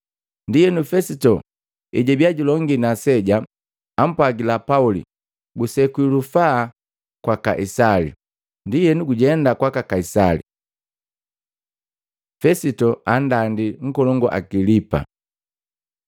Ndienu Fesito ejwabia julongi na aseja, ampwagila Pauli, “Gusekwi lufaa kwa Kaisali, ndienu gujenda kwaka Kaisali.” Fesito andandi nkolongu Agilipa